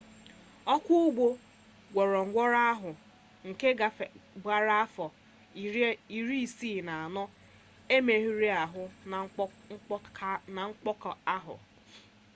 ọkwọ ụgbọ gwongworo ahụ nke gbara afọ 64 emerụghị ahụ na mkpọka ahụ